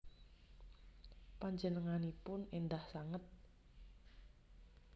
Panjenenganipun endah sanget